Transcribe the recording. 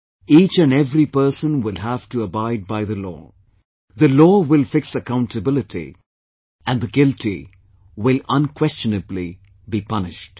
Each and every person will have to abide by the law; the law will fix accountability and the guilty will unquestionably be punished